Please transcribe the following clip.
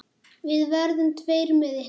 Við verðum tveir með ykkur.